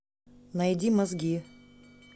найди мозги